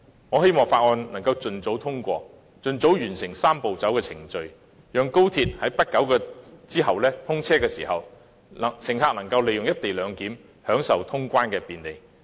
我希望《條例草案》能夠盡早通過，盡早完成"三步走"的程序，讓高鐵在不久後通車時，乘客能夠利用"一地兩檢"，享受通關的便利。